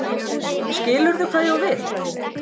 Skilurðu hvað ég á við?